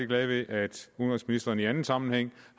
glad ved at udenrigsministeren i anden sammenhæng